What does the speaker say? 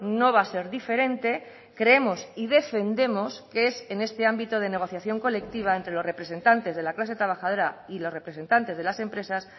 no va a ser diferente creemos y defendemos que es en este ámbito de negociación colectiva entre los representantes de la clase trabajadora y los representantes de las empresas